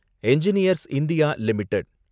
engineers India limited